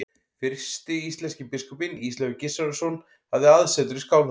Fyrsti íslenski biskupinn, Ísleifur Gissurarson, hafði aðsetur í Skálholti.